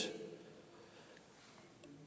jeg